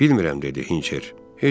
Bilmirəm, dedi Hinçer.